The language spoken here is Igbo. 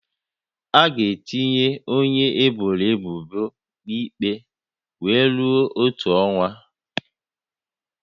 A ga-etinye onye eboro ebubo na ikpe wee rue otu ọnwa